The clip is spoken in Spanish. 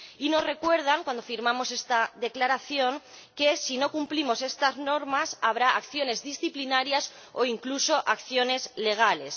Y nos recuerdan cuando firmamos esta declaración que, si no cumplimos estas normas, habrá acciones disciplinarias o incluso acciones legales.